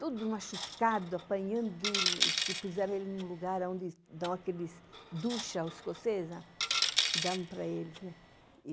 todo machucado, apanhando, porque puseram ele num lugar onde dão aqueles... ducha escocesa, que davam para eles, né?